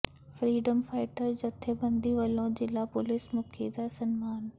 freedom fighter ਜਥੇਬੰਦੀ ਵੱਲੋਂ ਜ਼ਿਲ੍ਹਾ ਪੁਲੀਸ ਮੁਖੀ ਦਾ ਸਨਮਾਨ